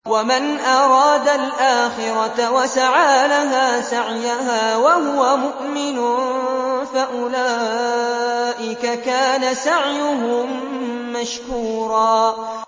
وَمَنْ أَرَادَ الْآخِرَةَ وَسَعَىٰ لَهَا سَعْيَهَا وَهُوَ مُؤْمِنٌ فَأُولَٰئِكَ كَانَ سَعْيُهُم مَّشْكُورًا